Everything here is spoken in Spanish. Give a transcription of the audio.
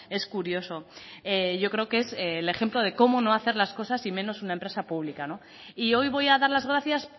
es curioso yo creo que es el ejemplo de cómo no hacer las cosas y menos una empresa pública y hoy voy a dar las gracias